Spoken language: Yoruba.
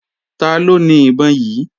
Taló ni ìbọn yí?